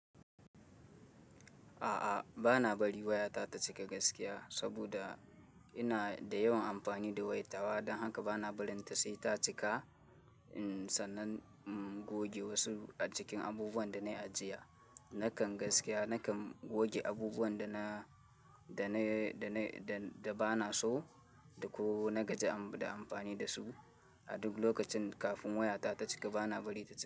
A'a, ba na bari waya ta ta cika gaskiya saboda ina da yawan amfani da wayat ta wa, don haka ba na barinta sai ta cika. Sannan in goge wasu cikin abubuwan da na ajiye. Nakan gaskiya, nakan goge abubuwan da na, da na, da na, da, da ba na so ko na gaji da amfani da su. A duk lokacin kafin waya ta ta cika, ba na bari ta cika.